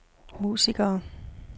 musikere